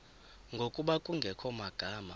ngokuba kungekho magama